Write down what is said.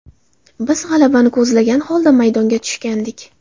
Biz g‘alabani ko‘zlagan holda maydonga tushgandik.